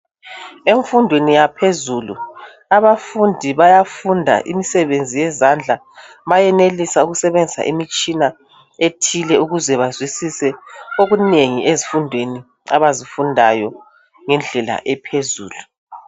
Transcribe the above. Emfundweni yaphezulu abafundi bayafunda imsebenzi yezandla, bayenelisa ukusebenzisa imitshina ethile ukuze bazwisise okunengi ezifundweni abazifundayo ngendlela ephezulu.